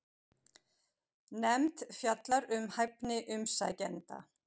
Nefnd fjallar um hæfni umsækjenda